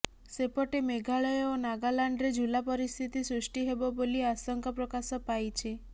ସେପଟେ ମେଘାଳୟ ଓ ନାଗାଲାଣ୍ଡରେ ଝୁଲା ପରିସ୍ଥିତି ସୃଷ୍ଟି ହେବ ବୋଲି ଆଶଙ୍କା ପ୍ରକାଶ ପାଇଛି